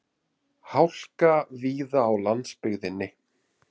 Hálka víða á landsbyggðinni